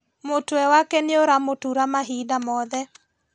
Mũtwe wake nĩũramũtura mahinda mothe